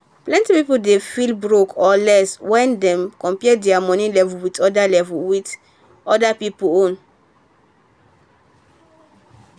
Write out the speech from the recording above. plenty people dey feel broke or less when dem compare their money level with other level with other people own.